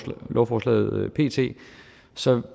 lovforslaget pt så